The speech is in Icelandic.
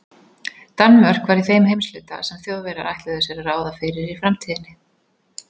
Danmörk var í þeim heimshluta, sem Þjóðverjar ætluðu sér að ráða fyrir í framtíðinni.